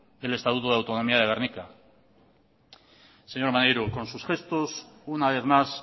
del estatuto de autonomía de gernika señor maneiro con sus gestos una vez más